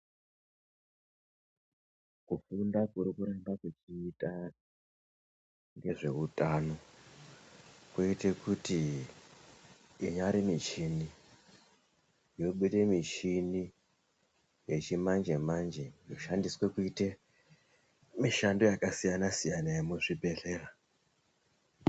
Kufunda kuri kuramba kuchiita ngezveutano kwoite kuti inyari muchini yobude muchini yechimanje manje yoshandiswe kuite mushando yakadiyana siyana yemuzvibhedhlera.